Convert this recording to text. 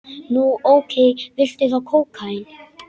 Nú, ókei, viltu þá kókaín?